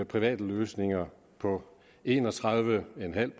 private løsninger på en og tredive en halv